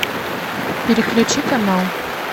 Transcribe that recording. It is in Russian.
переключи канал